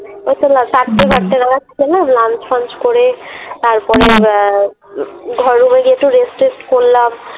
ওইতো চারটে ফারটে নাগাদ খেলাম Lunch ফাঞ্ছ করে তারপরে আহ ঘর গিয়ে একটু টেস্ট করলাম।